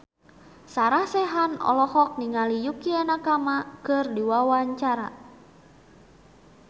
Sarah Sechan olohok ningali Yukie Nakama keur diwawancara